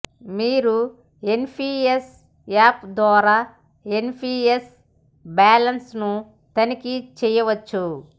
మీరు NPS app ద్వారా NPS balance ను తనిఖీ చేయవచ్చు